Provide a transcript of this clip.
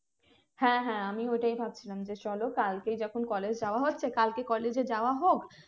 হ্যাঁ হ্যাঁ আমিও ওটাই ভাবছিলাম যে চলো কালকে যখন college যাওয়া হচ্ছে কালকে college এ যাওয়া হোক